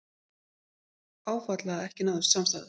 Áfall að ekki náðist samstaða